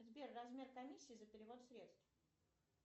сбер размер комиссии за перевод средств